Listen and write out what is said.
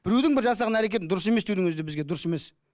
біреудің бір жасаған әрекетін дұрыс емес деудің өзі бізге дұрыс емес